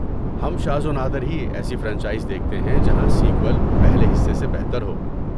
ہم شاذ و نادر ہی ایسی فرنچائز دیکھتے ہیں جہاں سیکوئل پہلے حصے سے بہتر ہو۔